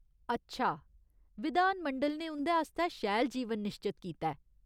अच्छा ! विधान मंडल ने उं'दे आस्तै शैल जीवन निश्चत कीता ऐ !